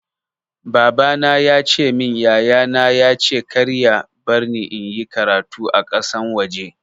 Baba na ya ce min yaya na ya ce kar ya barni in yi karatu a ƙasan waje.